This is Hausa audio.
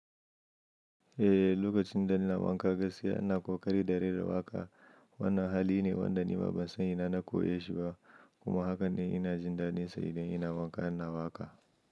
Eh, lokacin da ina wanka gaskiya ina ƙoƙari da rera waka. Wannan hali ne wanda nima ba ban san ina na ko ya shiga ba kuma haka ne ina jin dadin sa idan ina wanka ina waka.